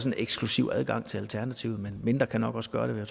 en eksklusiv adgang til alternativet men mindre kan nok også gøre